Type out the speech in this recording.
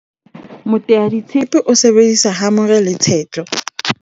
moteaditshepe o sebedisa hamore le tshetlo